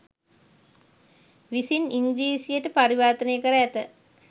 විසින් ඉංග්‍රීසියට පරිවර්තනය කර ඇත